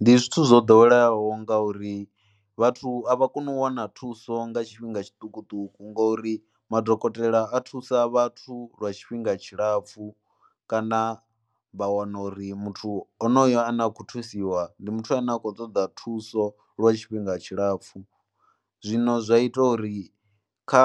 Ndi zwithu zwo ḓoweleaho ngauri vhathu a vha koni u wana thuso nga tshifhinga tshiṱukuṱuku ngori madokotela a thusa vhathu lwa tshifhinga tshilapfhu kana vha wana uri muthu onoyo ane a khou thusiwa ndi muthu ane a khou ṱoḓa thuso lwa tshifhinga tshilapfhu, zwino zwa ita uri kha